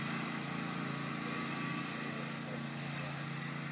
vha i ise embasini kana